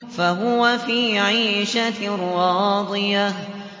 فَهُوَ فِي عِيشَةٍ رَّاضِيَةٍ